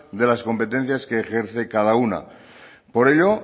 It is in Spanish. de las competencias que ejerce cada una por ello